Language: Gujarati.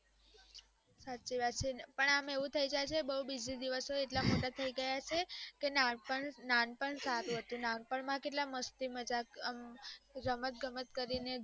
સાચી વાત છેને પણ અમ એવું થાય જાય છે બૌ buisy દિવસો એટલા બધા મોટા થય ગયા છે કે નાનપણ નાનપણ સારું હતું નાનપણ માં કેટલું મસ્તી મજાક અમ રમત ગમત કરીને સીખાતા